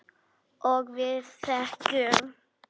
Og við þegjum.